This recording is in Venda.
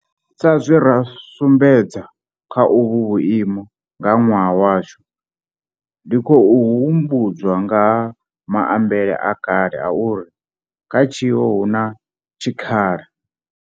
Sa zwe ra sumbedza kha uvhu vhuimo nga ṅwaha washu, ndi khou humbu dzwa nga ha maambele a kale a uri kha tshiwo hu na tshikhala.